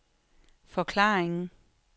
forklaringen